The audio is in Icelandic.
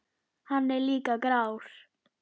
Hann er líka grár.